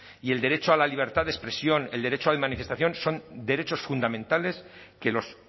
y el derecho a la libertad de expresión el derecho de manifestación son derechos fundamentales que los